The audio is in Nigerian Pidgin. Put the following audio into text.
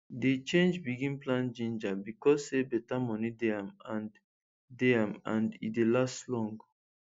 dey change begin plant ginger becos say beta moni dey am and dey am and e dey last long